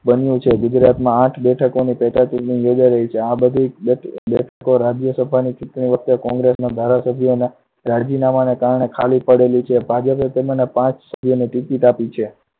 બન્યું છે. ગુજરાતમાં આઠ બેઠકોની પેટા ચુંટણી યોજાઈ રહી છે. આ બધી બેઠકો રાજ્યસભાની ચુંટણી વખતે congress ના ધારાસભ્યોના રાજીનામાંના કારણે ખાલી પડી છે. ભાજપે તેના પાંચ સભ્યોને ticket આપી છે.